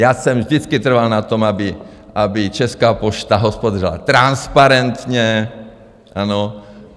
Já jsem vždycky trval na tom, aby Česká pošta hospodařila transparentně, ano?